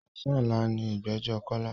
Ọ̀sán ọ̀la ni ìgbẹ́jọ́ Kọ́lá.